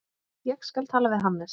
Ég skal tala við Hannes.